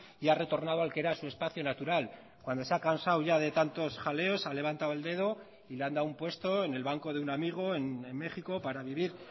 y ha retornado al que era su espacio natural cuando se ha cansado ya de tantos jaleos ha levantado el dedo y le han dado un puesto en el banco de un amigo en méxico para vivir